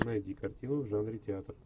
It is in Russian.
найди картину в жанре театр